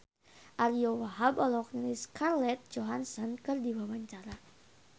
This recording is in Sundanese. Ariyo Wahab olohok ningali Scarlett Johansson keur diwawancara